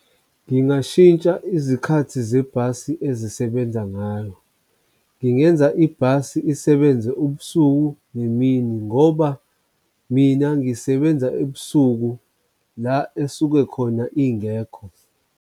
Ngingashintsha izikhathi zebhasi ezisebenza ngayo, ngingenza ibhasi isebenze ubusuku nemini ngoba mina ngisebenza ebusuku la esuke khona ingekho.